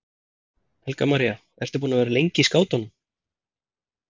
Helga María: Ertu búin að vera lengi í skátunum?